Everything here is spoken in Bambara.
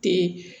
Te